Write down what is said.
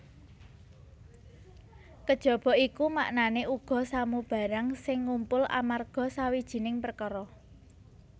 Kejaba iku maknané uga samubarang sing ngumpul amarga sawijining perkara